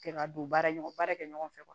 Kɛ ka don baara ɲɔgɔn baara kɛ ɲɔgɔn fɛ